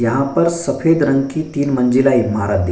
यहां पर सफेद रंग की तीन मंजिला इमारत --